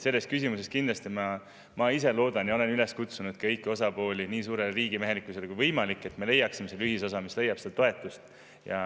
Selles küsimuses ma ise loodan seda ja olen üles kutsunud kõiki osapooli nii suurele riigimehelikkusele kui võimalik, et me leiaksime ühisosa, mis leiab toetust.